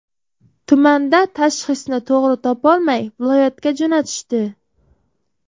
Tumanda tashxisni to‘g‘ri topolmay, viloyatga jo‘natishdi.